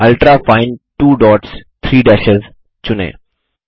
ultrafine 2 dots 3 डैशों चुनें